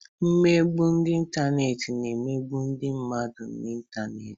Mmegbu ịntanetị na emegbu ndị mmadụ n'ịntanetị.